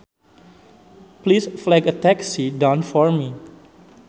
Please flag a taxi down for me